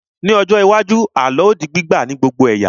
Ní ọjọ́ iwájú, àlọ́ á di gbígbà ní gbogbo ẹ̀yà